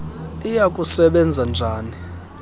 iya kusebenza njani